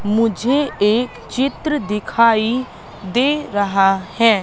मुझे एक चित्र दिखाई दे रहा है।